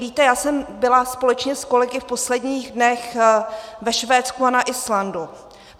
Víte, já jsem byla společně s kolegy v posledních dnech ve Švédsku a na Islandu.